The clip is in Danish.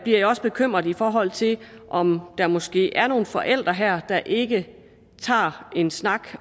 jeg også bekymret i forhold til om der måske er nogle forældre her der ikke tager en snak